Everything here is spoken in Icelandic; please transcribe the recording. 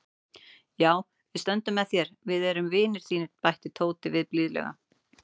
Já, við stöndum með þér, við erum vinir þínir bætti Tóti við blíðlega.